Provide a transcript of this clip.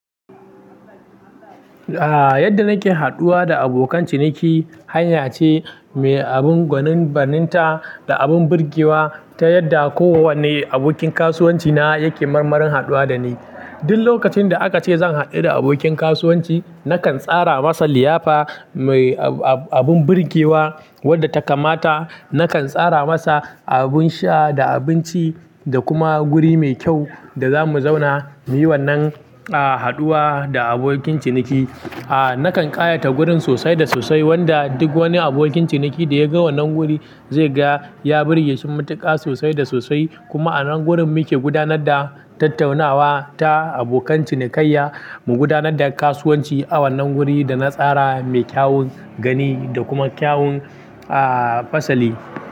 Yadda nake haɗuwa da abokan ciniki hanya ce mai abin gwanin baninta da abin birgewa ta yadda kowane abokin kasuwanci na yake marmarin haɗuwa da ni. Duk lokacin da aka ce zan haɗu da abokin kasuwanci, nakan tsara masa liyafa mai abun birgewa wadda ta kamata. Nakan tsara masa abin sha da abinci da kuma guri mai kyau da za mu zauna muyi wannan haɗuwa da abokin ciniki. Nakan ƙayata gurin sosai da sosai wanda duk wani abokin ciniki da ya ga wannan guri zai ga ya birge shi matuƙa sosai da sosai. Kuma a nan gurin muke gudanar da tattaunawa ta abokan cinikayya. Mu gudanar da kasuwanci a wannan guri da na tsara mai kyawun gani da kuma kyawun fasali.